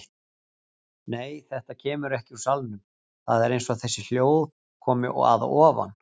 Nei, þetta kemur ekki úr salnum, það er eins og þessi hljóð komi að ofan.